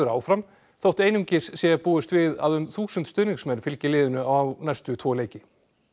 áfram þótt einungis sé búist við að um þúsund stuðningsmenn fylgi liðinu á næstu tvo leiki